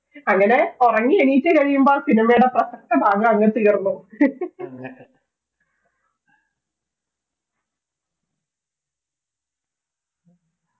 അങ്ങനെ ഉറങ്ങി എണിറ്റുകഴിയുമ്പോൾ cinema യുടെ പ്രസക്ത ഭാഗം അങ്ങ് തീർന്നു